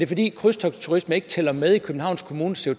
fordi krydstogtsturisme ikke tæller med i københavns kommunes